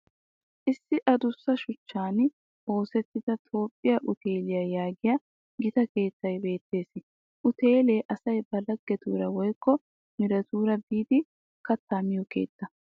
Issi adussa shuchchan oosettida toophphiya uteeliya yaagiya Gita keettay beettes. Uteele asay ba laggetuura woykko miiretuura biiddi katta miyo keettaa.